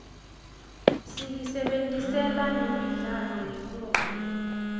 siyisebentisela nemidlalo yemoya